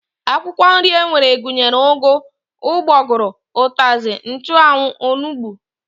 Akwụkwọ nri e nwere gụnyere ụgụ, ụgbọgụrụ, ụtazị, nchụanwụ, onugbu